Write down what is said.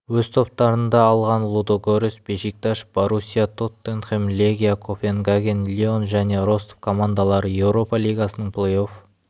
өз топтарында алған лудогорец бешикташ боруссия тоттенхэм легия копенгаген лион және ростов командалары еуропа лигасының плей-офф